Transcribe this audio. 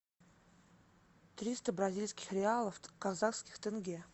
триста бразильских реалов в казахских тенге